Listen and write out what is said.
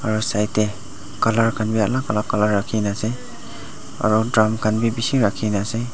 aro side te colour khanbi alak alak colour rakhikena ase aro drum drum khan bi rakhikena ase.